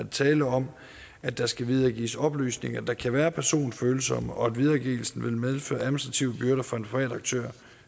tale om at der skal videregives oplysninger der kan være personfølsomme og at videregivelsen vil medføre administrative byrder for den private aktør